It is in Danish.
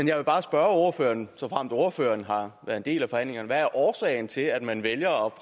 jeg vil bare spørge ordføreren såfremt ordføreren har været en del af forhandlingerne hvad årsagen er til at man vælger